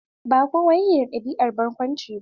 Ba kowa yake da ɗabi'an barƙunci ba.